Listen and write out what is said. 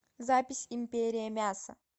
запись империя мяса